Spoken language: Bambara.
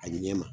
A ɲɛ ma